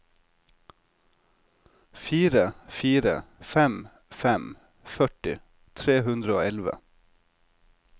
fire fire fem fem førti tre hundre og elleve